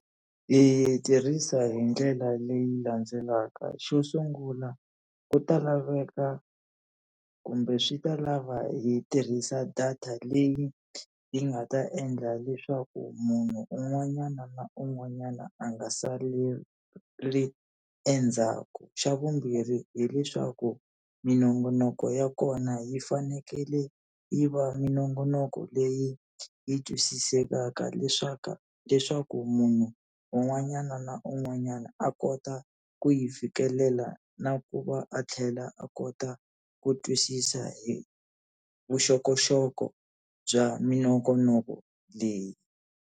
Ni yi tirhisa hi ndlela leyi landzelaka, xo sungula ku ta laveka kumbe swi ta lava hi tirhisa data leyi yi nga ta endla leswaku munhu un'wanyana na un'wanyana a nga saleli endzhaku. Xa vumbirhi hileswaku minongonoko ya kona yi fanekele yi va minongonoko leyi yi twisisekaka leswaku munhu u un'wanyana na un'wanyana a kota ku yi fikelela na ku va a tlhela a kota ku twisisa hi vuxokoxoko bya minongonoko leyi.